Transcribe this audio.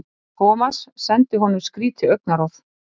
Thomas sendi honum skrýtið augnaráð.